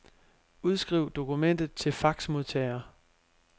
Udskriv dokumentet til faxmodtager.